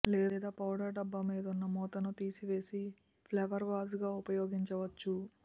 లేదా పౌడరు డబ్బా మీదున్న మూతను తీసివేసి ఫ్లవర్వేజ్గా ఉపయోగిం చవచ్చు